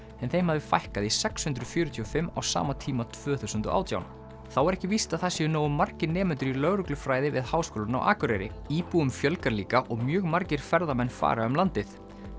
en þeim hafði fækkað í sex hundruð fjörutíu og fimm á sama tíma tvö þúsund og átján þá er ekki víst að það séu nógu margir nemendur í lögreglufræði við Háskólann á Akureyri íbúum fjölgar líka og mjög margir ferðamenn fara um landið